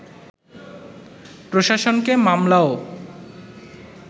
প্রশাসনকে মামলা ও